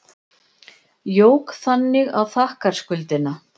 Jók þannig á þakkarskuldina.